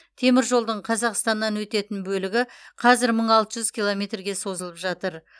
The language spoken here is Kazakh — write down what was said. теміржолдың қазақстаннан өтетін бөлігі қазір мың алты жүз километрге созылып жатыр